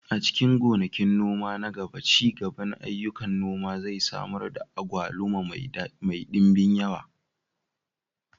A cikin gonakin noma na gaba, ci gaban ayyukan noma zai samar da agwaluma mai ɗimbin yawa.